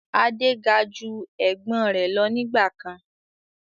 Adé ga ju Ẹ̀gbọ́n rẹ lọ nígbàkan